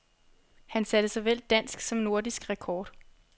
Han satte såvel dansk som nordisk rekord.